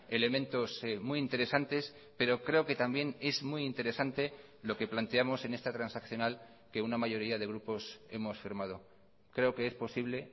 elementos muy interesantes pero creo que también es muy interesante lo que planteamos en esta transaccional que una mayoría de grupos hemos firmado creo que es posible